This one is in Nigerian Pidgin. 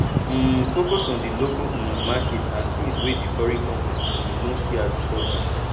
um focus on di local um market and things wey di foreign companies um no see as important